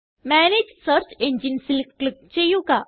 manage search Enginesല് click ചെയ്യുക